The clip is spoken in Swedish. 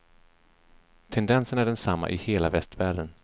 Tendensen är densamma i hela västvärlden.